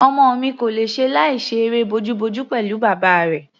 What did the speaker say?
Ọmọ mi kò lè ṣe láìṣe eré bojúbojú pẹ̀lú bàbá rẹ̀.